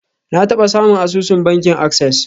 Na taba samun asusun bankin access.